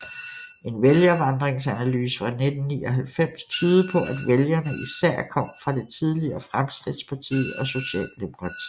En vælgervandringsanalyse fra 1999 tydede på at vælgerne især kom fra det tidligere Fremskridtspartiet og Socialdemokratiet